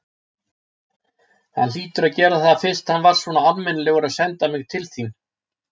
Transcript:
Hann hlýtur að gera það fyrst hann var svona almennilegur að senda mig til þín.